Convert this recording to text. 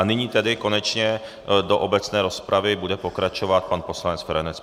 A nyní tedy konečně do obecné rozpravy bude pokračovat pan poslanec Feranec.